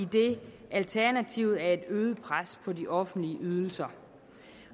alternativet er et øget pres på de offentlige ydelser